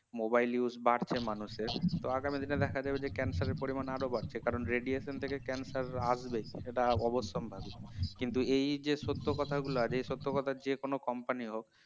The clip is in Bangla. mobile use বাড়ছে মানুষের তো আগামীকালে দেখা যাবে যে cancer এর পরিমাণ আরো বাড়ছে কারণ radiation থেকে cancer আসবেই সেটা অবশ্যম্ভাবি কিন্তু এই যে সত্য কথাগুলো যে সত্য কথা যেকোনো company হোক